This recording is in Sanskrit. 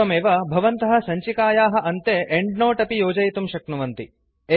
एवमेव भवन्तः सञ्चिकायाः अन्ते एंड्नोट् अपि योजयितुं शक्नुवन्ति